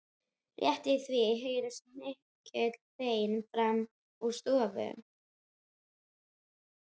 Rétt í því heyrast mikil vein framan úr stofu.